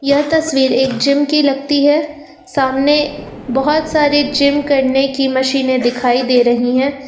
यह तस्वीर एक जिम की लगती है सामने बहोत सारी जिम करने की मशीनें दिखाई दे रही है।